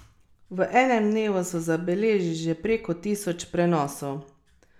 V enem dnevu so zabeležili že preko tisoč prenosov.